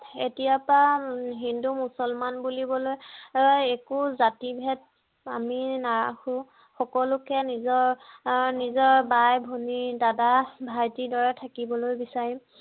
এতিয়াৰ পৰা হিন্দু মুছলমান বুলিবলৈ একো জাতি ভেদ আমি নাৰাখো সকলোকে নিজৰ ভাই ভনী দাদা ভাইটিৰ দৰে থাকিবলৈ বিচাৰিম